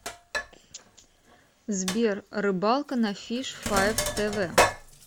сбер рыбалка на фиш файв тэ вэ